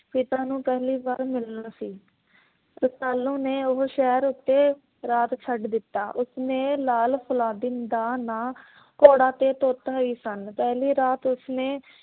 ਨੂੰ ਪਹਿਲੀ ਵਰ ਮਿਲਣਾ ਸੀ। ਰਸਾਲੂ ਨੂੰ ਉਹ ਸ਼ਹਿਰ ਉੱਤੇ ਰਾਤ ਛੱਡ ਦਿੱਤਾ। ਉਸਨੇ ਲਾਲ ਫਲਾਦੀਨ ਦਾ ਨਾ ਘੋੜਾ ਤੇ ਤੋਤਾ ਹੀ ਸਨ। ਰਾਤ ਉਸਨੇ